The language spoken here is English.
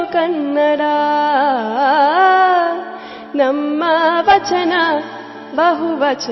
Song